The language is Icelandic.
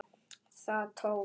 Það tókst!